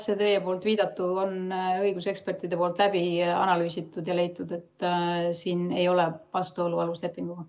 See teie viidatu on õigusekspertidel läbi analüüsitud ja on leitud, et siin ei ole vastuolu aluslepinguga.